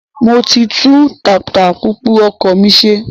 Mo ti tún tatapùpù ọkọ̀ mi ṣe